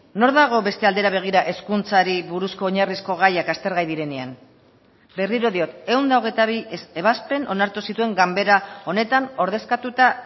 nor dago beste aldera begira hezkuntzari buruzko oinarrizko gaiak aztergai direnean berriro diot ehun eta hogeita bi ebazpen onartu zituen ganbera honetan ordezkatuta